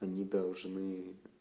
они должны